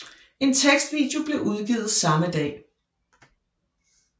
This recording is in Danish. En tekstvideo blev udgivet samme dag